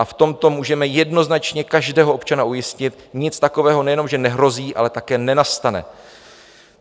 A v tomto můžeme jednoznačně každého občana ujistit: nic takového nejenom že nehrozí, ale také nenastane.